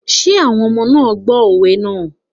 Are the children listening to the proverbs?